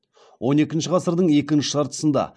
он екінші ғасырдың екінші жартысында